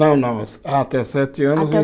Não, não, ah até os sete anos em Até